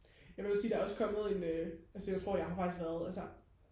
jeg vil også sige der er også kommet en øh altså jeg tror jeg har faktisk været altså